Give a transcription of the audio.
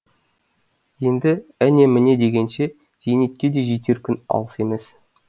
енді әне міне дегенше зейнетке де жетер күн алыс емес